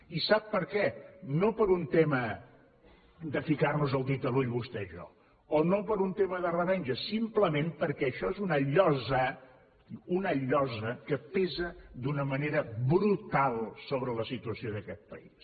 i sap per què no per un tema de ficar nos el dit a l’ull vostè i jo o no per un tema de revenja simplement perquè això és una llosa una llosa que pesa d’una manera brutal sobre la situació d’aquest país